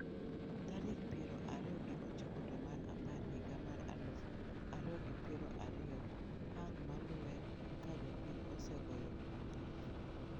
Tarik piero ariyo gi ochiko dwe mar apar higa mar aluf ariyo gi piero ariyo ang' maluwe ka jopiny ose goyo ombulu?